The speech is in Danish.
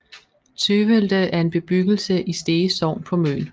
Tøvelde er en bebyggelse i Stege Sogn på Møn